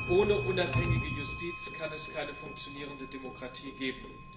Ohne unabhängige Justiz kann es keine funktionierende Demokratie geben.